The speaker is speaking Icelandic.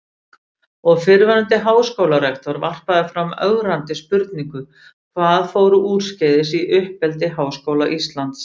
Og fyrrverandi háskólarektor varpaði fram ögrandi spurningum: Hvað fór úrskeiðis í uppeldi Háskóla Íslands?